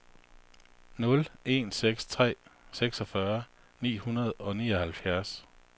nul en seks tre seksogfyrre ni hundrede og nioghalvfjerds